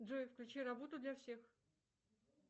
джой включи работу для всех